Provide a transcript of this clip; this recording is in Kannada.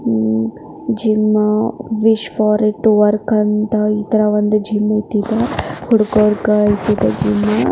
ಹಮ್ ಜಿಮ್ ವಿಶ್ವ ರೀತಿ ವರ್ಕ್ ಅಂತ ಈ ತರ ಒಂದು ಜಿಮ್ ಐಟಿ ಹುಡುಗರಿಗೆ ಇದೆ ಜಿಮ್ .